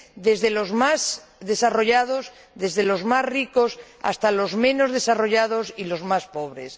desde los más desarrollados, desde los más ricos, hasta los menos desarrollados y los más pobres.